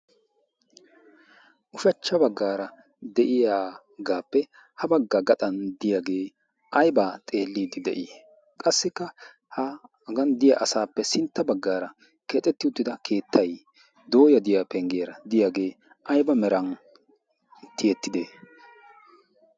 Ushachcha baggaara de'iyagaappe ha baggaa gaxan diyaagee aybaa xeelliiddi de'ii? Qassikka haagan diya asaappe sintta baggaara keexetti uttida keettay dooya de'iyaa penggiyara de'iyaagee ayba meran tiyettide?